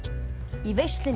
í veislunni